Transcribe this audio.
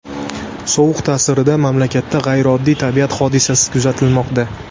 Sovuq ta’sirida mamlakatda g‘ayrioddiy tabiat hodisasi kuzatilmoqda .